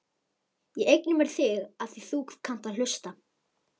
Ég eigna mér þig afþvíað þú kannt að hlusta.